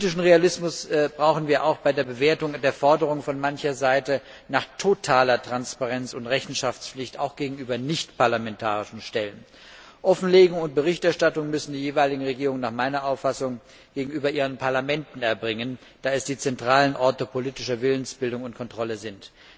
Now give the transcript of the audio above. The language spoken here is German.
Politischen Realismus brauchen wir auch bei der Bewertung der Forderung von mancher Seite nach totaler Transparenz und Rechenschaftspflicht, auch gegenüber nichtparlamentarischen Stellen. Offenlegung und Berichterstattung müssen die jeweiligen Regierungen nach meiner Auffassung gegenüber ihren Parlamenten erbringen, da sie die zentralen Orte politischer Willensbildung und Kontrolle sind.